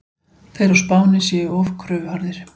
Þeir á Spáni séu of kröfuharðir.